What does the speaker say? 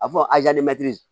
A fɔ